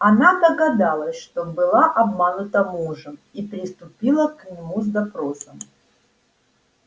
она догадалась что была обманута мужем и приступила к нему с допросом